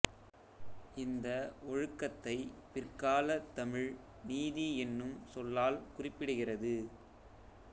இந்த ஒழுக்கத்தைப் பிற்காலத் தமிழ் நீதி என்னும் சொல்லால் குறிப்பிடுகிறது